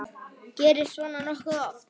Gerist svona nokkuð oft?